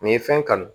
Nin ye fɛn kanu